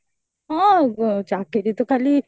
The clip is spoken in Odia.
ହଁ ଚାକିରୀତ ଖାଲି